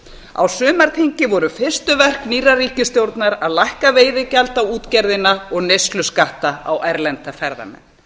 á sumarþingi voru fyrstu verk nýrrar ríkisstjórnar að lækka veiðigjald á útgerðina og neysluskatta á erlenda ferðamenn